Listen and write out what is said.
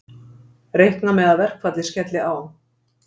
Reikna með að verkfallið skelli á